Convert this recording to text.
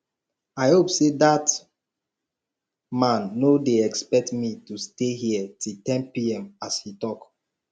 i hope say dat man no dey expect me to stay here till ten pm as he talk